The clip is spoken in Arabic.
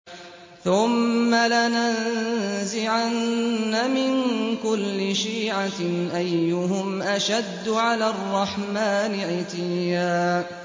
ثُمَّ لَنَنزِعَنَّ مِن كُلِّ شِيعَةٍ أَيُّهُمْ أَشَدُّ عَلَى الرَّحْمَٰنِ عِتِيًّا